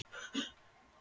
Nei, nei, ég var að koma.